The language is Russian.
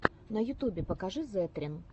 на ютубе покажи зэтрин